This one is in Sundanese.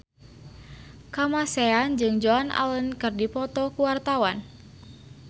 Kamasean jeung Joan Allen keur dipoto ku wartawan